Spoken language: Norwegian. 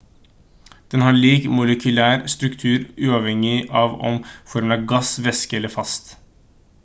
den har lik molekylær struktur uavhengig av om formen er gass væske eller fast